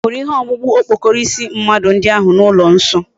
Ihuru ihe okpukpu okpokoro isi mmadu ndi ahu na ulo nso?